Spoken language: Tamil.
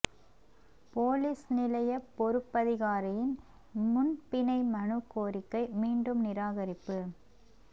பொலிஸ் நிலைய பொறுப்பதிகாரியின் முன் பிணை மனு கோரிக்கை மீண்டும் நிராகரிப்பு